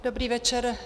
Dobrý večer.